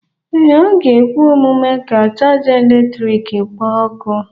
Ee, ọ ga-ekwe omume ka chaja eletrik kpoo ọkụ.